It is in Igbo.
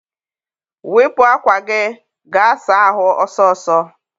wipu akwa gị gaa saa ahụ ọsọ ọsọ!